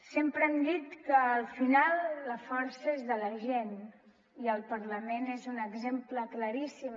sempre hem dit que al final la força és de la gent i el parlament n’és un exemple claríssim